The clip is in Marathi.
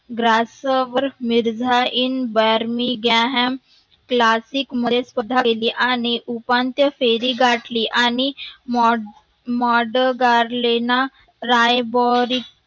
ग्रासावर मिर्झा इन व्यार्णी ग्याहांम classic आणि उपांत्य फेरी गठाली आणि मोड मोडगार्वेना